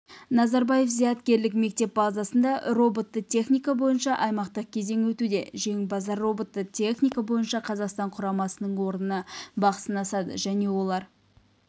назарбаев зияткерлік мектебі базасында роботты техника бойынша аймақтық кезең өтуде жеңімпаздар роботты техника бойынша қазақстан құрамасының орнына бақ сынасады және олар